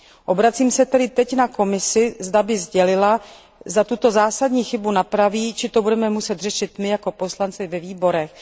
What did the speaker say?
Obracím se tedy teď na Komisi, zda by sdělila, zda tuto zásadní chybu napraví, či to budeme muset řešit my jako poslanci ve výborech.